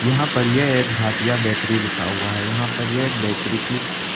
यहां पर यह एक भातिया बेकरी लिखा हुआ है यहां पर यह एक बेकरी की--